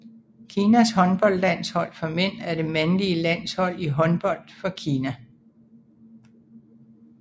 Kinas håndboldlandshold for mænd er det mandlige landshold i håndbold for Kina